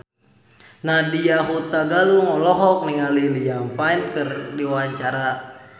Nadya Hutagalung olohok ningali Liam Payne keur diwawancara